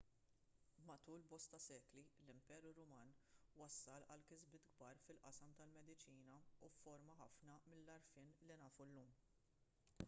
matul bosta sekli l-imperu ruman wassal għal kisbiet kbar fil-qasam tal-mediċina u fforma ħafna mill-għarfien li nafu llum